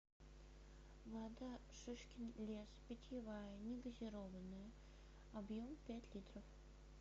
вода шишкин лес питьевая не газированная объем пять литров